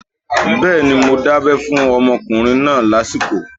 Bẹ́ẹ̀ni, mo dábẹ́ fún ọmọkùnrin náà lásìkò